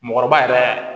Mɔɔkɔrɔba yɛrɛ